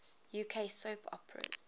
uk soap operas